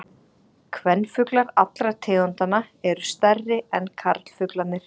Kvenfuglar allra tegundanna eru stærri en karlfuglarnir.